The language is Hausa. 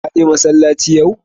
Kaje masallaci yau?